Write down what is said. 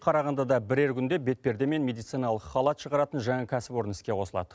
қарағандыда бірер күнде бетперде мен медициналық халат шығаратын жаңа кәсіпорын іске қосылад